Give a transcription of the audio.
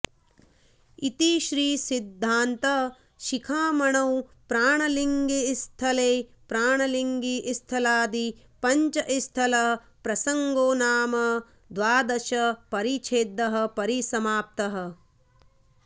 इति श्री सिद्धान्त शिखामणौ प्राणलिङ्गिस्थले प्राणलिङ्गि स्थलादि पञ्चस्थल प्रसङ्गोनाम द्वादश परिच्छेदः परिसमाप्तः